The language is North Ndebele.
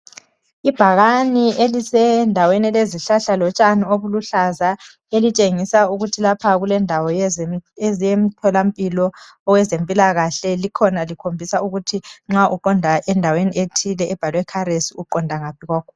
Ibhakani elisendaweni elezihlahla lotshani obukuhlaza elitshengisa ukuthi lapha kulendawo yezemtholampilo yezempilakahle likhona likhombisa ukuthi nxa uqonda endaweni ethile ebhalwe CARAES uqonda ngaphi kwakhona